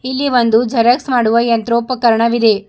ಇಲ್ಲಿ ಒಂದು ಜರಾಕ್ಸ್ ಮಾಡುವ ಯಂತ್ರೊಪಕರನವಿದೆ.